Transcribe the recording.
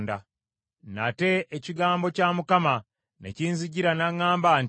Nate ekigambo kya Mukama ne kinzijira n’aŋŋamba nti,